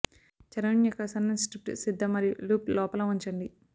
చర్మం యొక్క సన్నని స్ట్రిప్ సిద్ధం మరియు లూప్ లోపల ఉంచండి